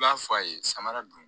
I b'a fɔ a ye samara dun